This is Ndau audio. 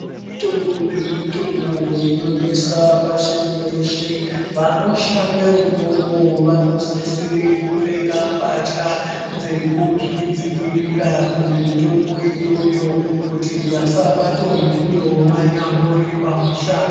Mutungu nemutungu inonesa pashi reshe vanoshande umwomwo vanosisire kupfeka mbatya dzekuzvidzivirira kumutungu iyoyo kuti vashabatwe vanyambori pamushando.